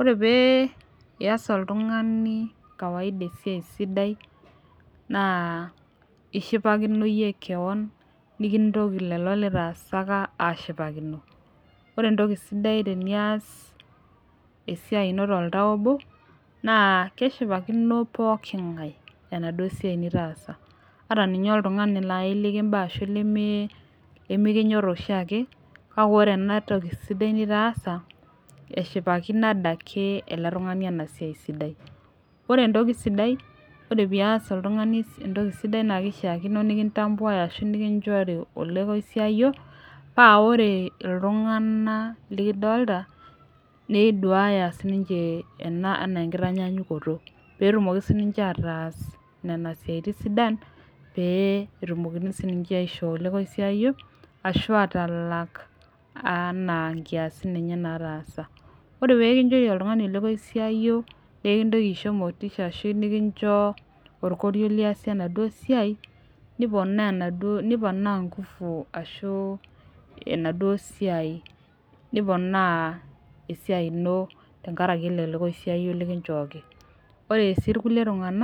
ore pee iyas oltung'ani kawaida esiai sidai naa ishipakino iyie kewan nikintoki lelo litaasaka ashipakino ore entoki sidai tenias esiai ino toltau obo naa keshipakino poking'ae enaduo siai nitaasa ata ninye oltung'ani laaji likimba ashu limi limikinyorr oshiake kake ore ena toki sidai nitaasa eshipakino adake ele tung'ani ena siai sidai ore entoki sidai ore pias oltung'ani entoki sidai naa kishiakino nikintambuae ashu nikinchori olekoisiayio paa ore iltung'ana likidolta neduaya sininche ena enaa enkitanyanyukoto petumoki sininche ataas nena siaitin sidan pee etumokini sininche aishoo olekoisiayio ashu atalak anaa nkiasin enye nataasa ore pekinchori oltung'ani olekoisiayio nekintoki aisho motisha ashu nekincho orkorio liasie enaduo siai niponaa enaduo niponaa ingufu ashu enaduo siai niponaa esiai ino tenkarake ele lekoisiayio likinchooki ore sii irkulie tung'anak.